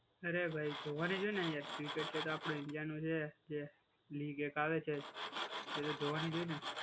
અરે ભાઈ જોવાની છે ને એક્ટિવ છે તો આપડે ઇન્ડિયા નું છે જે લીગ એ કાલે છે, એ તો જોવાની જ હોય ને.